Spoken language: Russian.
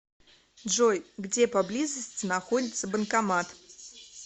джой где поблизости находится банкомат